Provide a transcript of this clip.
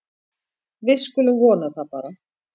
Við skulum vona það bara.